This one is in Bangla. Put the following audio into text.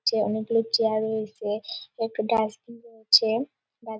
চেয়ার অনেক গুলো চেয়ার -এ রয়েছে একটা ডাস্টবিন রয়েছে। ডাস --